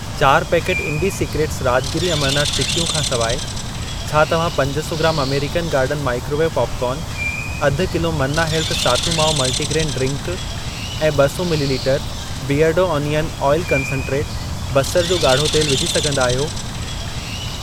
चार पैकेट इन्डिसिक्रेट्स राज॒गिरी अमरनाथ चिक्कियूं खां सिवाइ, छा तव्हां पज सौ gram American garden microwave popcorn, अधु kilo Manna health sathu maavu multigrain drink ऐं ॿ सौ मिलीलीटरु बीयरडो अनियन ऑइल कंसन्ट्रेट, बसरु जो गाढ़ो तेल विझी सघंदा आहियो?